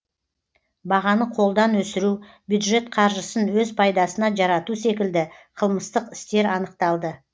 бағаны қолдан өсіру бюджет қаржысын өз пайдасына жарату секілді қылмыстық істер анықталды